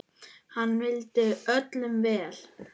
Hann vildi öllum vel.